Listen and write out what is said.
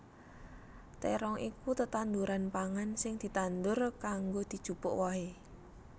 Térong iku tetanduran pangan sing ditandur kanggo dijupuk wohé